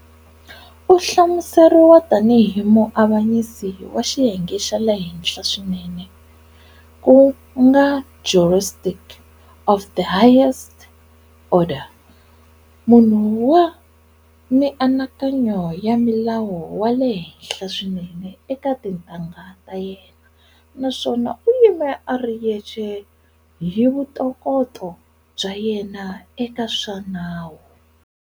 U hlamuseriwa tani hi muavanyisi wa xiyenge xa le henhla swinene ku nga"jurist of the highest order","munhu wa mianakanya ya milawu wa le henhla swinene eka tintangha ta yena" na swona"u yime a ri yexe hi vuntokoto bya yena eka swa nawu".